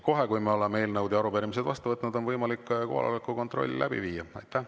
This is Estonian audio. Kohe, kui me oleme eelnõud ja arupärimised vastu võtnud, on võimalik kohaloleku kontroll läbi viia.